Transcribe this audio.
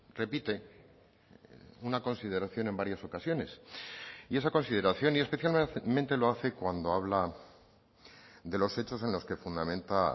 repite una consideración en varias ocasiones y esa consideración y especialmente lo hace cuando habla de los hechos en los que fundamenta